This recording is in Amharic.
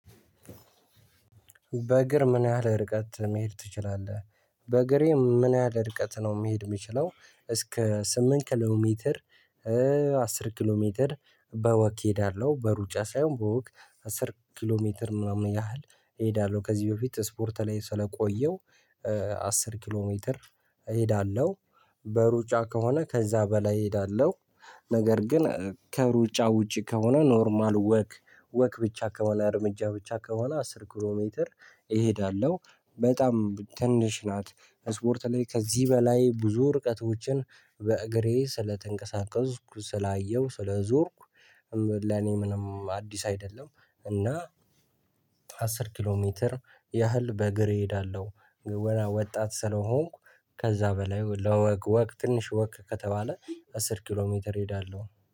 በእግር ምን ያህል ርቀት መሄድ ትችላለህ? በእግሬ ምን ያህል ርቀት ነው መሄድ የሚችለው እስከ ስምንት ኪሎ ሜትር: አስር ኪሎ ሜትር- በወክ እሄዳለሁ። በሩጫ ሳይሆን በወክ አስር ኪሎ ሜትር ምናምን ያህል እሄዳለሁ። ከዚህ በፊት ስፖርት ላይ ስለቆየው አስር ኪሎ ሜትር እሄዳለሁ። በሩጫ ከሆነ ከዛ በላይ እሄዳለሁ። ነገር ግን ከሩጫ ውጪ ከሆነ ኖርማል ወክ ወክ ብቻ ከሆነ እርምጃ ብቻ ከሆነ አስር ኪሎ ሜትር እሄዳለሁ። በጣም ትንሽ ናት።- ስፖርት ላይ ከዚህ በላይ ብዙ ርቀቶችን በእግሬ ስለተንቀሳቀስኩ ስላየሁ ስለዞርኩ ለኔ ምንም አዲስ አይደለም። እና አስር ኪሎ ሜትር ያህል በእግሬ እሄዳለሁ። ወጣት ስለሆንኩ ከዛ በላይ ለወክ ወክ ትንሽ ወክ ከተባለ አስር ኪሎ ሜትር እሄዳለሁ።